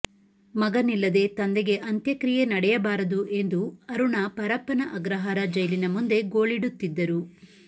ಮಗನಿಲ್ಲದೆ ತಂದೆಗೆ ಅಂತ್ಯಕ್ರಿಯೆ ನಡೆಯಬಾರದು ಎಂದು ಅರುಣಾ ಪರಪ್ಪನ ಅಗ್ರಹಾರ ಜೈಲಿನ ಮುಂದೆ ಗೋಳಿಡುತ್ತಿದ್ದರು